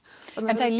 en það er